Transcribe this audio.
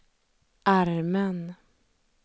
armen